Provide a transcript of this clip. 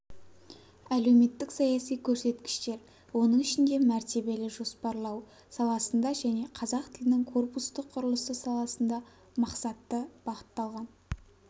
әлеуметтік-саяси көрсеткіштер оның ішінде мәртебелі жоспарлау саласында және қазақ тілінің корпустық құрылысы саласында мақсатты бағытталған